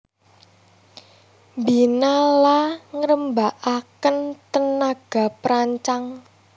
Mbina la ngrembakakaken tenaga perancang